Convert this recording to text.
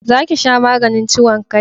Za ki sha maganin ciwon kai